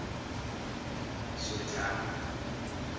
swethani